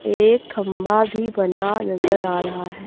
एक खंबा भी बना नजर आ रहा है।